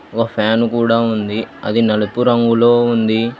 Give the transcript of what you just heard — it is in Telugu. ఓ ఫ్యాన్ కూడా ఉంది అది నలుపు రంగులో ఉంది.